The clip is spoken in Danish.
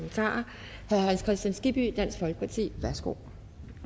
herre hans kristian skibby dansk folkeparti værsgo